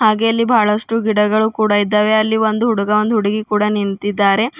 ಹಾಗೆ ಇಲ್ಲಿ ಬಹಳಷ್ಟು ಗಿಡಗಳು ಕೂಡ ಇದ್ದಾವೆ ಅಲ್ಲಿ ಒಂದ್ ಹುಡುಗ ಒಂದ್ ಹುಡುಗಿ ಕೂಡ ನಿಂತಿದ್ದಾರೆ.